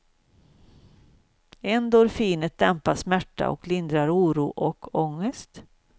Endorfinet dämpar smärta och lindrar oro och ångest.